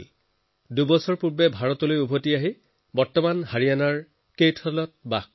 দুবছৰ আগতেহে তেওঁ ভাৰতলৈ আহিছে আৰু এতিয়া হাৰিয়ানাৰ কেথলত থাকে